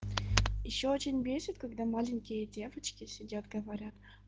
ещё очень бесит когда маленькие девочки сидят говорят